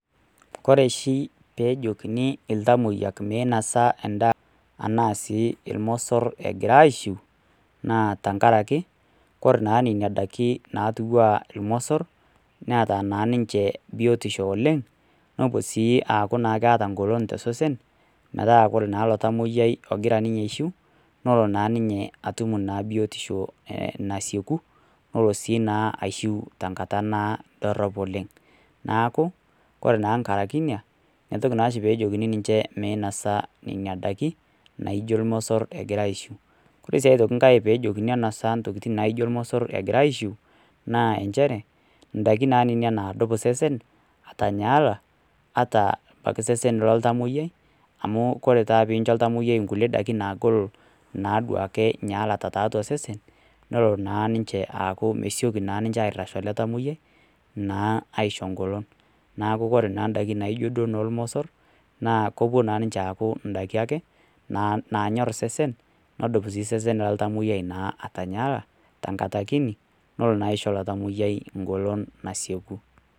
kore oshii peejekini iltamoyia meinasa endaa enaa sii irmosor egira aishiu naa tenkaraki korree naa nena daikin naatiu enaa irmosor neeta naa ninche biotisho oleng` nepu sii aku keeta enggolon tosesen metaa oree naa ilo tamoyiai ogira ninye aishiu nelo naa ninye atum naa biotisho nasieku nelo sii naa aishiu nenkata dorop oleng` neeku koree naa nkaraki ina entoki naa oshi peejokini ninche meinasa nena daikkin naijo irmosor egira aishiu oree sii engae aitoki peejokini enasa intokiting` naijo irmosor egira aishiu naa nchere indaikin naa nena naadup osesen atanyaala pokii sesen loltamoiyai amu ore taa pincho oltamoyiai kulie daikin naagol naadua ake atanyaala tiatua osesen nelo naa niinche aaku mesioki naa ninche oret ele tamoyiai naa aisho engolon neeku oree naa indaikin naijo duo noo irmosor naa kepuo naa ninche ayaku indaiki akenaanyor osesen nadup sii osesen oltamoiyai naa atanyaalaa tenkata kinyi nelo naa aisho ilo tamoyiaii engolon nasieku.